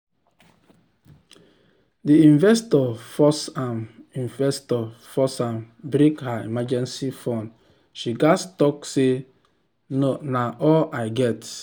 d investor force am investor force am break her emergency fund she gats talk say "na all i get".